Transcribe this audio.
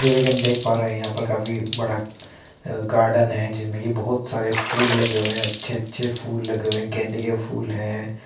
जैसे कि हम देख पा रहे हैं यहां पर काफी बड़ा अ गार्डन है जिसमें कि बोहोत सारे फूल लगे हुए हैं। अच्छे-अच्छे फूल लगे हुए हैं। गेंदे के फूल हैं।